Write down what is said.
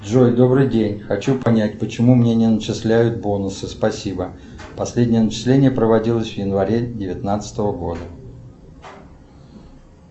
джой добрый день хочу понять почему мне не начисляют бонусы спасибо последнее начисление проводилось в январе девятнадцатого года